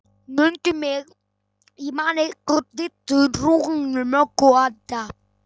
Mundu mig, ég man ykkur Diddu, Rúnu, Möggu, Adda